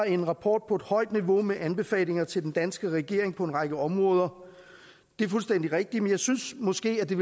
en rapport på et højt niveau med anbefalinger til den danske regering på en række områder det er fuldstændig rigtigt men jeg synes måske at det